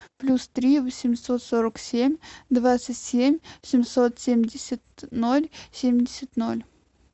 плюс три восемьсот сорок семь двадцать семь семьсот семьдесят ноль семьдесят ноль